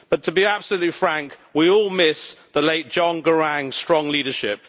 But to be absolutely frank, we all miss the late John Garang's strong leadership.